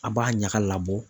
A b'a ɲaga labɔ.